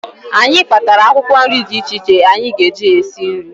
Anyị kpatara akwụkwọ nri dị iche iche anyị ga-eji na-esi nri